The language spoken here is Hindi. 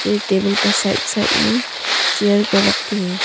यै टेबल का साइड साइड में चेयर को रखे हैं।